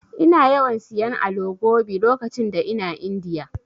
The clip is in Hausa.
Ina yawan siyan Alo Gobi lokacin da ina Indiya.